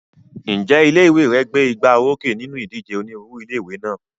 Ǹjẹ́ ilé ìwé rẹ gbé igbá orókè nínú ìdíje onírúurú ilé ìwé náà?